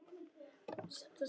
En bara eitt bein.